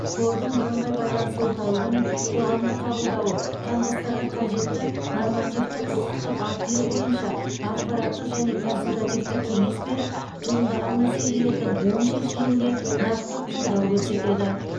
қордың бірыңғай байланыс орталығы мен қоғамдық қабылдауы қандастарға қажетті нормативті құқықтық актілер бойынша ақпараттық және консультативтік кеңес беріп туындаған мәселелердің оң шешілуіне нақты қолдау көрсетеді